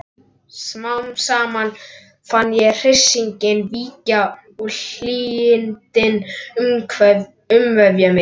Smám saman fann ég hryssinginn víkja og hlýindin umvefja mig.